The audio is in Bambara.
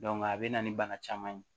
a bɛ na ni bana caman ye